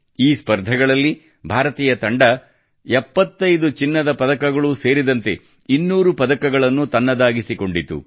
ಈ ಸ್ಪರ್ಧೆಗಳಲ್ಲಿ ಭಾರತೀಯ ತಂಡವು 75 ಚಿನ್ನದ ಪದಕಗಳೂ ಸೇರಿದಂತೆ 200 ಪದಕಗಳನ್ನು ತನ್ನದಾಗಿಸಿಕೊಂಡಿತು